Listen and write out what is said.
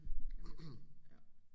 Jeg er med på det ja